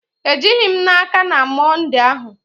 Ejighị m n'aka na Mọnde ahụ